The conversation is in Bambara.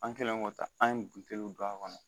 An kɛlen k'o ta an ye buteliw don a kɔnɔ